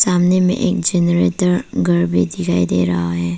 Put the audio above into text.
सामने में एक जनरेटर घर भी दिखाई दे रहा है।